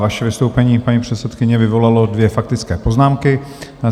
Vaše vystoupení, paní předsedkyně, vyvolalo dvě faktické poznámky.